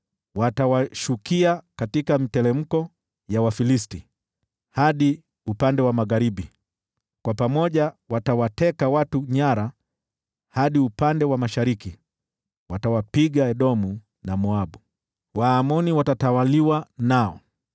Watawashukia katika miteremko ya Wafilisti hadi upande wa magharibi, kwa pamoja watawateka watu nyara hadi upande wa mashariki. Watawapiga Edomu na Moabu, na Waamoni watatawaliwa nao.